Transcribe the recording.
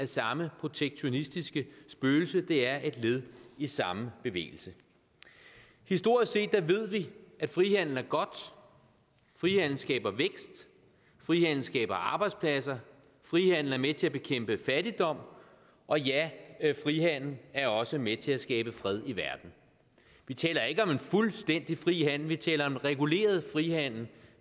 samme protektionistiske spøgelse det er et led i samme bevægelse historisk set ved vi at frihandel er godt frihandel skaber vækst frihandel skaber arbejdspladser frihandel er med til at bekæmpe fattigdom og ja frihandel er også med til at skabe fred i verden vi taler ikke om fuldstændig fri handel vi taler om reguleret frihandel